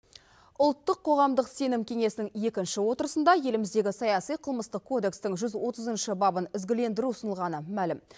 ұлттық қоғамдық сенім кеңесінің екінші отырысында еліміздегі саяси қылмыстық кодекстің жүз отызыншы бабын ізгілендіру ұсынылғаны мәлім